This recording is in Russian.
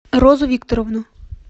розу викторовну